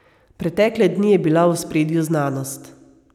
Pretekle dni je bila v ospredju znanost.